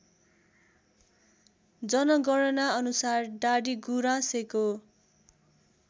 जनगणना अनुसार डाडीगुराँसेको